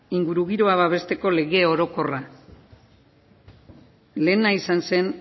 ingurugiroa babesteko lege orokorra lehena izan zen